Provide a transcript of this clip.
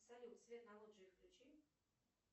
салют свет на лоджии включи